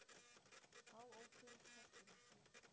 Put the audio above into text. Þá ókyrrist hesturinn.